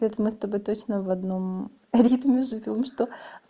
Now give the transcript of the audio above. вот мы с тобой точно в одном ритме живём что